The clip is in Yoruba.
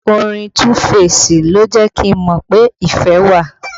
Orin Tuu feesi ló jẹ́ kí n mọ pé ìfẹ́ wà